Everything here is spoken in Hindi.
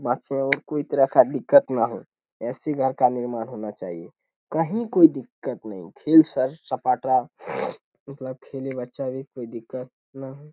और कोई तरह का दिक्कत ना हो। ऐसे घर का निर्माण होना चाहिए। कही कोई दिक्कत नहीं फिर सेर सपाटा खेले बच्चा भी कोई दिक्कत न हो।